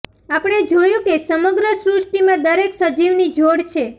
આપણે જોયું કે સમગ્ર સૃષ્ટિમાં દરેક સજીવની જોડ છે